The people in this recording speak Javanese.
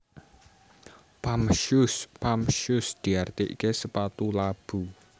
Pump Shoes Pump shoes diartiké sepatu labu